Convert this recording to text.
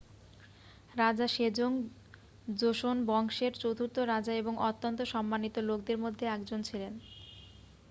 রাজা Sejong Joseon বংশের চতুর্থ রাজা এবং অত্যন্ত সম্মানিত লোকদের মধ্যে একজন ছিলেন